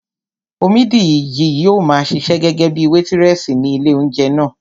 Omídìji yóò maa ṣiṣẹ́ gẹ́gẹ́bíi wétírẹ̀sì ní ilé óúnjẹ náà